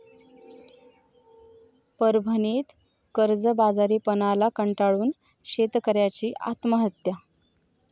परभणीत कर्जबाजारीपणाला कंटाळून शेतकऱयाची आत्महत्या